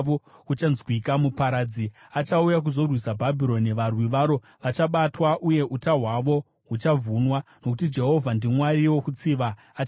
Muparadzi achauya kuzorwisa Bhabhironi; varwi varo vachabatwa, uye uta hwavo huchavhunwa. Nokuti Jehovha ndiMwari wokutsiva; achatsiva zvizere.